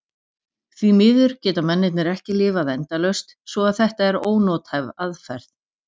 Því miður geta mennirnir ekki lifað endalaust svo að þetta er ónothæf aðferð.